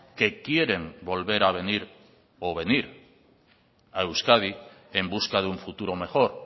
que quieren volver a venir o venir a euskadi en busca de un futuro mejor